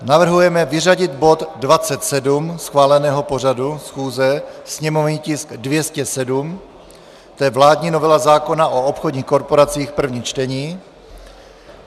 Navrhujeme vyřadit bod 27 schváleného pořadu schůze, sněmovní tisk 207, to je vládní novela zákona o obchodních korporacích, první čtení.